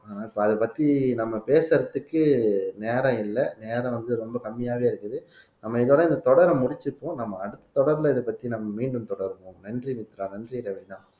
இப்ப அத பத்தி நம்ம பேசுறதுக்கு நேரம் இல்ல நேரம் வந்து ரொம்ப கம்மியாவே இருக்குது நம்ம இதோட இந்த தொடரை முடிச்சுப்போம் நம்ம அடுத்த தொடர்பிலே இத பத்தி நம்ம மீண்டும் தொடருவோம் நன்றி மித்ரா நன்றி ராவினா